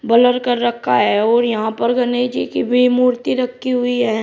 Blur कर रखा है और यहां पर गनेश जी की भी मूर्ति रखी हुई है।